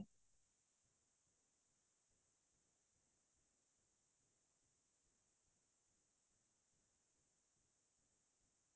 পঢ়া শুনা এতিয়াটো মই স্নাতকৰটো চতুৰ্থ সান মাহিকৰ পৰীক্ষা দিলো